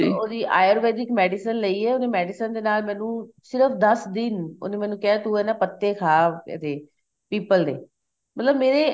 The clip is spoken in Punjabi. ਉਹਦੀ ayurvedic medicine ਲਈ ਏ medicine ਦੇ ਨਾਲ ਮੈਨੂੰ ਸਿਰਫ ਦੱਸ ਦਿਨ ਉਹਨੇ ਮੈਨੂੰ ਕਿਹਾ ਤੂੰ ਇਨਾ ਪਤੇ ਖਾ ਇਹਦੇ ਪੀਪਲ ਦੇ ਮਤਲਬ ਮੇਰੇ